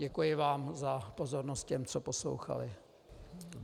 Děkuji vám za pozornost - těm, co poslouchali.